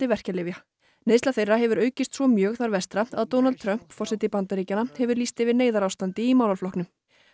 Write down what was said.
verkjalyfja neysla þeirra hefur aukist svo mjög þar vestra að Donald Trump forseti Bandaríkjanna hefur lýst yfir neyðarástandi í málaflokknum